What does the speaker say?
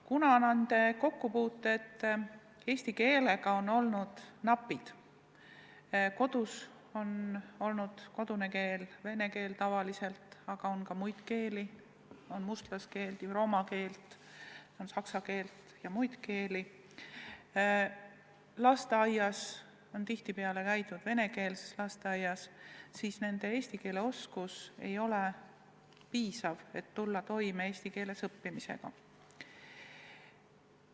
Kuna nende kokkupuuted eesti keelega on olnud napid – kodune keel on tavaliselt vene keel, aga on ka muid keeli, on mustlaskeelt ehk roma keelt, on saksa keelt ja muid keeli, ent lasteaed on tihtipeale olnud venekeelne –, siis nende eesti keele oskus ei ole piisav, et tulla toime eesti keeles õppimisega.